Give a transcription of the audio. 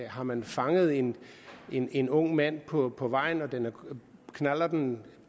har man fanget en en ung mand på på vejen og knallerten